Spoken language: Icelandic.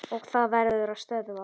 Og það verður að stöðva.